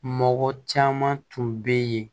Mɔgɔ caman tun bɛ yen